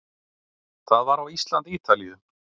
Það var á Ísland- Ítalíu